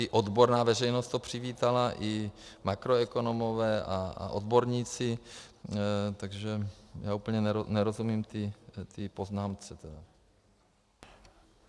I odborná veřejnost to přivítala i makroekonomové a odborníci, takže já úplně nerozumím té poznámce.